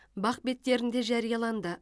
бақ беттерінде жарияланды